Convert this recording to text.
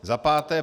Za páté.